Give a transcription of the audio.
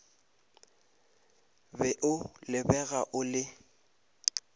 be o lebega o le